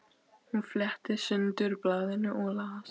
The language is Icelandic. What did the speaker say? Hún fletti sundur blaðinu og las